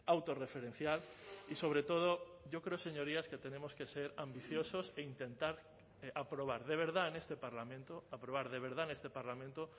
autorreferencial y sobre todo yo creo señorías que tenemos que ser ambiciosos e intentar aprobar de verdad en este parlamento aprobar de verdad en este parlamento